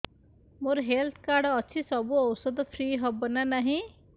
ମୋର health card ଅଛି ସବୁ ଔଷଧ ଫ୍ରି ହବ ନା ନାହିଁ